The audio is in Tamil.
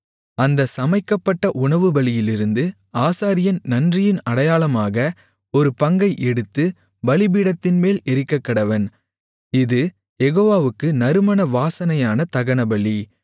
அந்த சமைக்கப்பட்ட உணவுபலியிலிருந்து ஆசாரியன் நன்றியின் அடையாளமாக ஒரு பங்கை எடுத்துப் பலிபீடத்தின்மேல் எரிக்கக்கடவன் இது யெகோவாவுக்கு நறுமண வாசனையான தகனபலி